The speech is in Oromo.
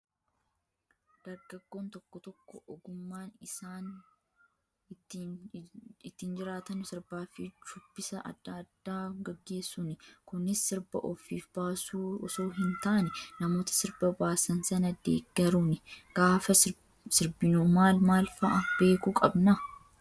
Dargaggoon tokko tokko ogummaan isaan ittiin jiraatan sirbaa fi shubbisa adda addaa gaggeessuuni. Kunis sirba ofiif baasu osoo hin taane, namoota sirba baasan sana deeggaruuni. Gaafa sirbinu maal maal fa'aa beekuu qabnaa?